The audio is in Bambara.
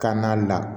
Ka na la